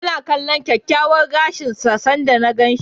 Ya na kalllon kyakkyawan gashin sa sanda na gan shi.